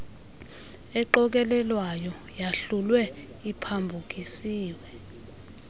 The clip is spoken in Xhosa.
eqokelelwayo yahlulwe iphambukiswe